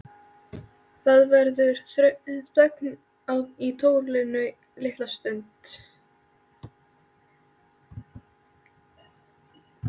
Það verður þögn í tólinu litla stund.